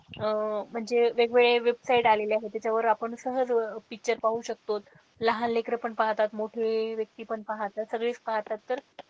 अह म्हणजे वेगवेगळे website आलेले आहेत त्याच्यावर आपण सहज picture पाहू शकतो लहान लेकरं पण पाहतात मोठे व्यक्ती पण पाहतात सगळेच पाहतात तर,